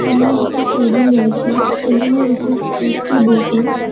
সামনে একটি টেবিল রয়েছে টেবিলের উপর একটি বোতলক ।